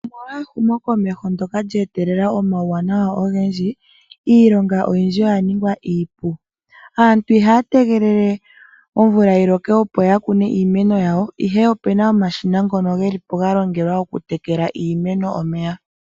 Omolwa ehumo komeho ndyoka lya etelela omauwanawa ogendji, iilonga oyindji oya ninga iipu. Aantu ihaya tegelele omvula yi loke opo ya kune iimeno yawo, ihe opena omashina ngono geli po ga longelwa oku tekela iimeno omeya.